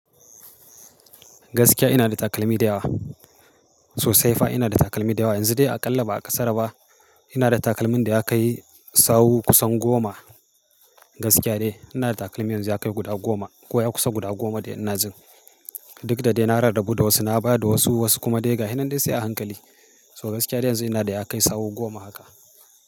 Gaskiya ina da takalmi da yawa. Sosai fa ina da takalmi da yawa. Yanzu dai aƙalla ba a ƙasara ba ina da takalmin da ya kai sawu kusan goma. Gaskiya dai ina da takalmi yanzu ya kai guda goma ko ya kusa guda goma dai ina jin. Duk da dai na rarrabu da wasu, na ba da wasu, wasu kuma dai ga shinan dai sai a hankali. So gaskiya dai yanzu ina da ya kai sawu goma haka.